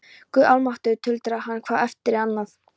Guð almáttugur tuldrar hann hvað eftir annað.